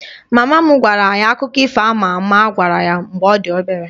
Mama m gwara anyị akụkọ ifo a ma ama a gwara ya mgbe ọ dị obere